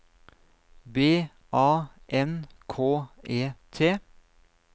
B A N K E T